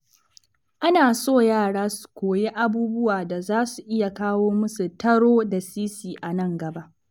Ana so yara su koyi abubuwa da za su iya kawo musu taro da sisi a nan gaba.